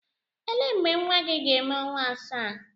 Ele mgbe nwa gị ga-eme ọnwa asaa?